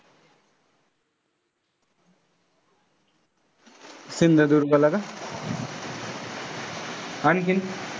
सिंधुदुर्गला का? आणखीन?